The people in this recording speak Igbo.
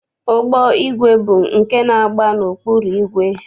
Ụgbọigwe bụ nke na-agba n'ọkpụrụ igwe.